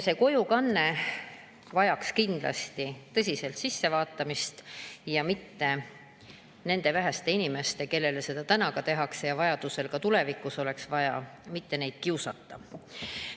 See teema vajaks kindlasti tõsiselt ülevaatamist, et mitte neid väheseid inimesi, kes seda ja kellel ka tulevikus võib olla seda vaja, kiusata.